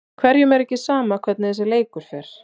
Hverjum er ekki sama hvernig þessi leikur fer?